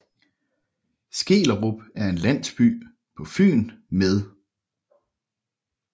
Skellerup er en landsby på Fyn med